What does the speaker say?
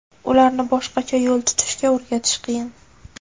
Ularni boshqacha yo‘l tutishga o‘rgatish qiyin.